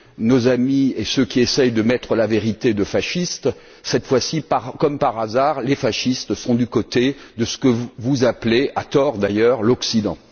nos amis et ceux qui essaient de mettre la vérité de fasciste. Cette fois, comme par hasard, les fascistes sont du côté de ce que vous appelez, à tort d'ailleurs, l'Occident.